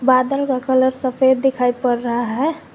बादल का कलर सफेद दिखाई पड़ रहा है।